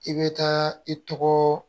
I bɛ taa i tɔgɔ